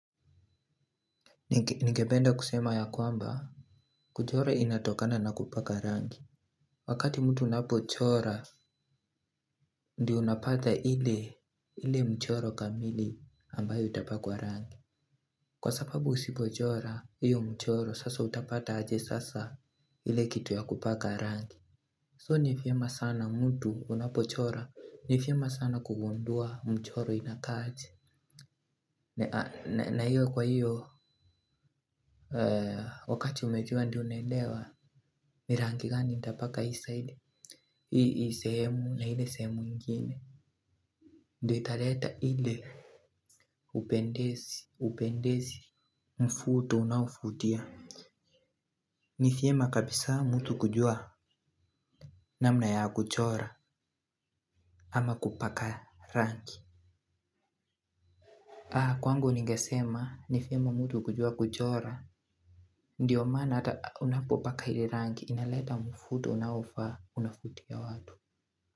Ningependa kusema ya kwamba, kuchora inatokana na kupaka rangi. Wakati mtu unapochora, ndio unapata ile mchoro kamili ambayo itapakwa rangi. Kwa sababu usipochora, hiyo mchoro, sasa utapata aje sasa ile kitu ya kupaka rangi So nivyema sana mtu unapochora, nivyema sana kugundua mchoro inakaa aje na hiyo kwa hiyo, wakati umejua ndio unaelewa, ni rangi gani ninatapaka hii siide hii sehemu na hile sehemu ingine. Ndiyo italeta hile upendezi, upendezi, mvuto unauvutia. Ni vyema kabisa mtu kujua namna ya kuchora ama kupaka rangi. Kwangu ningesema ni vyema mtu kujua kuchora, ndiyo mana ata unapopaka hiyo rangi inaleta mvuto unaofa unavutia watu.